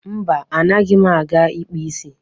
Mba, anaghị m aga ịkpa isi.